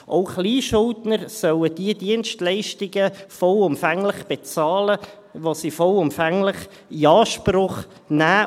Auch Kleinschuldner sollen die Dienstleistungen vollumfänglich bezahlen, die sie vollumfänglich in Anspruch nehmen.